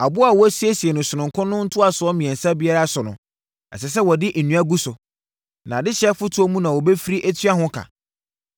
Aboɔ a wɔasiesie no sononko no ntosoɔ mmiɛnsa biara so no, ɛsɛ sɛ wɔde nnua gu so. Na adehyeɛ fotoɔ mu na wɔbɛfiri atua ho ka.